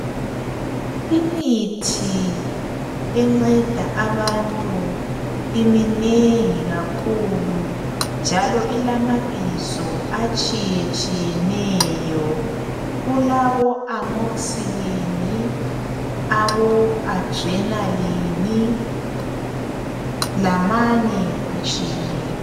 Imithi enceda abantu iminengi kakhulu njalo ilamabizo atshiye tshiyeneyo kulabo amoxylin, abo adrenaline lamanye atshiyeneyo.